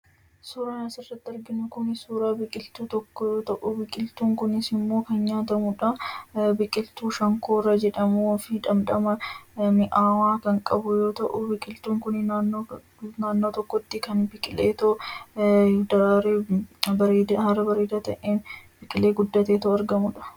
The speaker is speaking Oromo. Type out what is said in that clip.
Suuraan asirratti arginu kun suuraa biqiltuu tokkoo yoo ta’u, biqiltuun kunis immoo kan nyaatamudha. Biqiltuu ' Shonkoraa' jedhamuu fi dhamdhamaa mi'aawaa kan qabu yoo ta’u, biqiltuun kun naannoo tokkootti biqilee haala bareedaa ta'een biqilee guddateetoo argamudha.